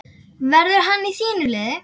Verður hann í þínu liði?